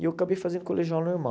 E eu acabei fazendo o colegial normal.